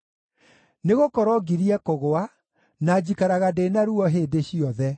Nĩgũkorwo ngirie kũgũa, na njikaraga ndĩ na ruo hĩndĩ ciothe.